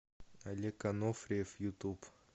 олег анофриев ютуб